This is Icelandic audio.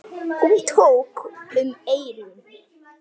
Hún tók um eyrun.